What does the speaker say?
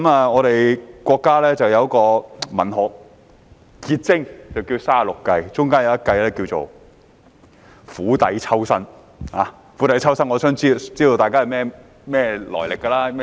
我們國家有一部文學結晶——《三十六計》，當中有一計是"釜底抽薪"，相信大家也知道它的來歷和意思。